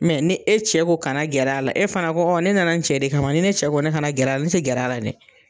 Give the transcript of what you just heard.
ni e cɛ ko kana gɛrɛ a la, e fana ko ɔ ne nana n cɛ de kama, ne cɛ ko ne kana gɛrɛ ne tɛ gɛrɛ a la dɛ.